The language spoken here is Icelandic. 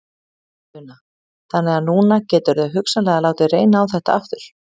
Una: Þannig að núna geturðu hugsanlega látið reyna á þetta aftur?